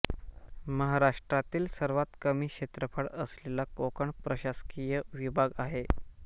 महाराष्ट्रातील सर्वात कमी क्षेत्रफळ असलेला कोकण प्रशासकीय विभाग आहे